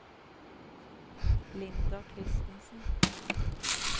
Linda Christensen